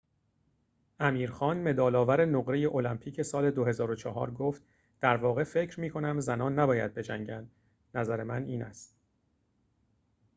امیر خان مدال‌آور نقره المپیک سال ۲۰۰۴ گفت در واقع فکر می‌کنم زنان نباید بجنگند نظر من این است